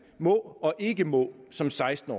må og ikke må som seksten